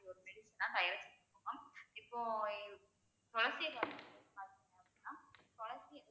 ஒரு medicine னா தயாரிச்சிட்டு இருக்கோம் இப்போ துளசி பாத்தீங்கன்னா அப்படினா துளசி